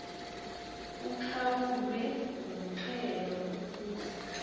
uqhawulwe umxhelo ukuze